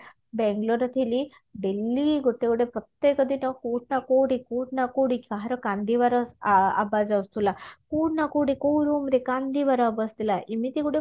ବାଙ୍ଗେଲୋରରେ ଥିଲି daily ଗୋଟେ ଗୋଟେ ପ୍ରତ୍ୟକ ଦିନ କୋଉଠି ନା କୋଉଠି କୋଉଠି ନା କୋଉଠି କାହାର କାନ୍ଦିବାର ଆ ଆବାଜ ଆସୁଥିଲା କୋଉଠି ନା କୋଉଠି କୋଉ room ରେ କାନ୍ଦିବାର ଏମିତି ଗୋଟେ